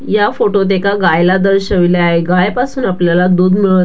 या फोटो त एका गाइला दर्शविले आहे गाय पासुन आपल्याला दुध मिळत --